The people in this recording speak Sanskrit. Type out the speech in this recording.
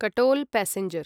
कटोल् पैसेंजर्